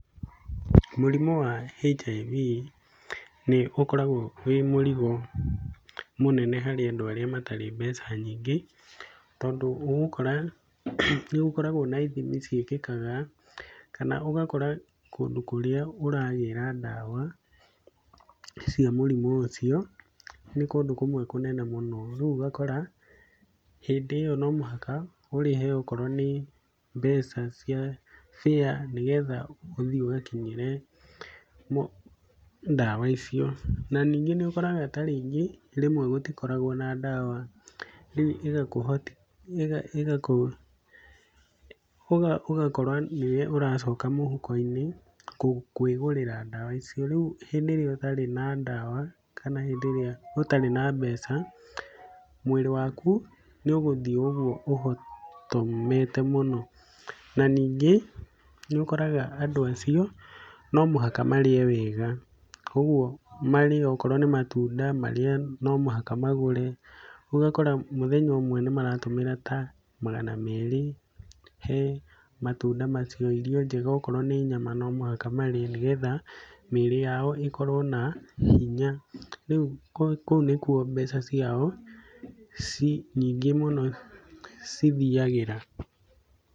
Mũrimũ wa HIV nĩ ũkoragwo wĩ mũrigo mũnene harĩ andũ arĩa matarĩ mbeca nyingĩ, tondũ ũgũkora nĩgũkoragwo na ithimi ciĩkĩkaga, kana ũgakora kũndũ kũrĩa ũragĩra ndawa cia mũrimũ ũcio nĩ kũndũ kũmwe kũnene mũno, rĩu ũgakora hĩndĩ ĩyo no mũhaka ũrĩhe okorwo nĩ mbeca cia fare nĩgetha ũthiĩ ũgakinyĩre ndawa icio. Na, ningĩ nĩũkoraga ta rĩngĩ rĩmwe gũtikoragwo na ndawa, rĩu ĩgakũ ĩgakũ ũgakora nĩwe ũracoka mũhuko-inĩ kwĩgũrĩra ndawa icio, rĩu hĩndĩ ĩrĩa ũtarĩ na ndawa kana hĩndĩ ĩrĩa ũtarĩ na mbeca, mwĩrĩ waku nĩũgũthiĩ ũguo ũhotomete mũno. Na ningĩ nĩũkoraga andũ acio no mũhaka marĩe wega, ũguo marĩe okorwo nĩ matunda marĩe no mũhaka magũre, rĩu ũgakora mũthenya ũmwe nĩmaratũmĩra ta magana merĩ he matunda macio, irio njega okorwo nĩ nyama no mũhaka marĩe nĩgetha mĩrĩ yao ĩkorwo na hinya rĩu kũu nĩkuo mbeca ciao ci nyingĩ mũno cithiagĩra.